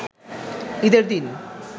ঈদের দিন